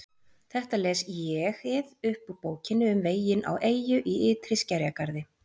Þetta les ÉG-ið upp úr Bókinni um veginn á eyju í ytri skerjagarði